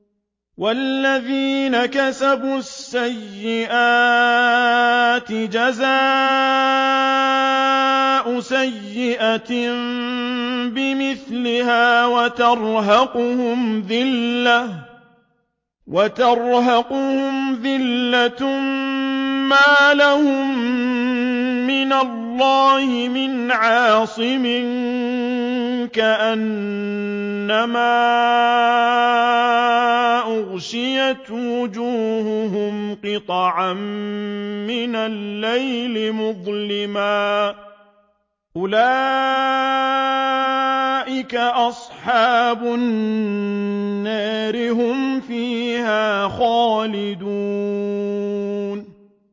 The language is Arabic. وَالَّذِينَ كَسَبُوا السَّيِّئَاتِ جَزَاءُ سَيِّئَةٍ بِمِثْلِهَا وَتَرْهَقُهُمْ ذِلَّةٌ ۖ مَّا لَهُم مِّنَ اللَّهِ مِنْ عَاصِمٍ ۖ كَأَنَّمَا أُغْشِيَتْ وُجُوهُهُمْ قِطَعًا مِّنَ اللَّيْلِ مُظْلِمًا ۚ أُولَٰئِكَ أَصْحَابُ النَّارِ ۖ هُمْ فِيهَا خَالِدُونَ